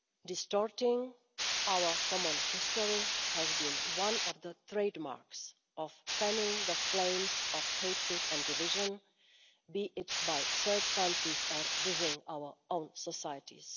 Distorting our common history has been one of the trademarks of fanning the flames of hatred and division, be it by third countries or within our own societies.